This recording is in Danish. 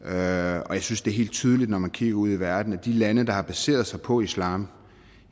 jeg synes det er helt tydeligt når man kigger ud i verden at de lande der har baseret sig på islam